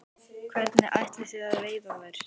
Hvernig ætlið þið að veiða þær?